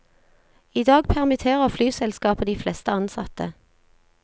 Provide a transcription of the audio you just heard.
I dag permitterer flyselskapet de fleste ansatte.